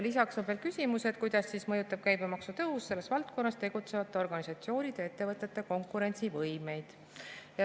Lisaks on veel küsimus, kuidas mõjutab käibemaksu tõus selles valdkonnas tegutsevate organisatsioonide ja ettevõtete konkurentsivõimet.